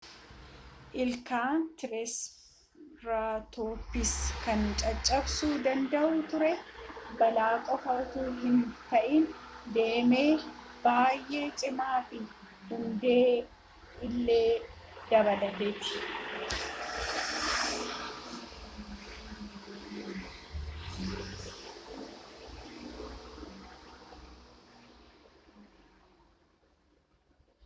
ilkaan triseratopiis kan caccabsuu danda'u ture baala qofa utuu hin ta'in damee bayyee cimaa fi hundee illee dabalateeti